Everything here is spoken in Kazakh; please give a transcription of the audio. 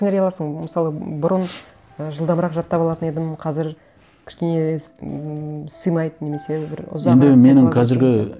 сіңіре аласың мысалы бұрын і жылдамырақ жаттап алатын едім қазір кішкене ммм симайды немесе бір